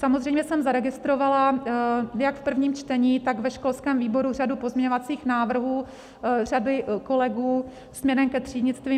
Samozřejmě jsem zaregistrovala jak v prvním čtení, tak ve školském výboru řadu pozměňovacích návrhů řady kolegů směrem ke třídnictví.